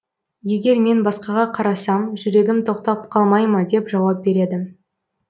егер мен басқаға қарасам жүрегім тоқтап қалмай ма деп жауап береді